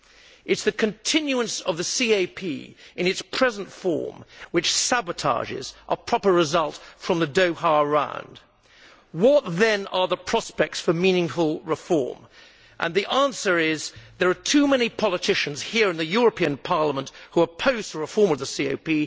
It is the continuance of the CAP in its present form which sabotages a proper result from the Doha Round. What, then, are the prospects for meaningful reform? The answer is that there are too many politicians here in the European Parliament who oppose the reform of the CAP.